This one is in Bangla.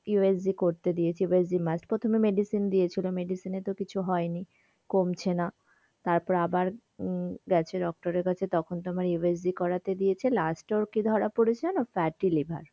USG করতে দিয়েছে USGmust প্রথমে medicine দিয়েছিলো medicine এ তো কিছু হয় নি কমছে না তারপরে আবার হম গেছে doctor এর কাছে তখন তো আবার USG করাতে দিয়েছে last এ ওর কি ধরা পড়েছে জানো fatty liver.